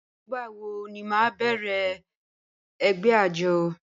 Nígbàwọ̀ ní à má bẹ̀rẹ̀ ẹgbẹ̀ àjọ̀?